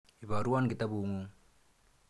Iparwon kitaput ng'ung'.